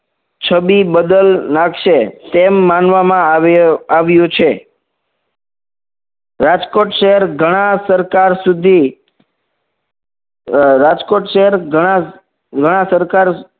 છબી બદલ નાખશે તેમ માનવામાં આવ્યુ આવ્યું છે રાજકોટ શહેર ઘણા સરકાર સુધી રાજકોટ શહેર ઘણા ઘણા સરકાર